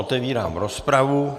Otevírám rozpravu.